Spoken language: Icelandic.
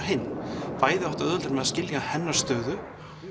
hinn bæði áttu auðveldara með að skilja hennar stöðu